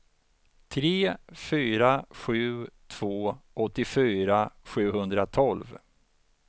tre fyra sju två åttiofyra sjuhundratolv